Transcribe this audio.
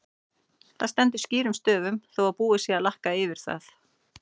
Það stendur skýrum stöfum þó að búið sé að lakka yfir það!